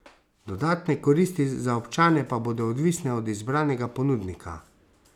Dodatne koristi za občane pa bodo odvisne od izbranega ponudnika.